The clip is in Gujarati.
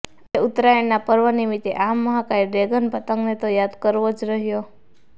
આજે ઉત્તરાયણના પર્વ નિમિત્તે આ મહાકાય ડ્રેગન પતંગને તો યાદ કરવો જ રહ્યો